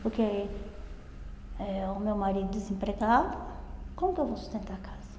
Porque eh o meu marido desempregado, como que eu vou sustentar a casa?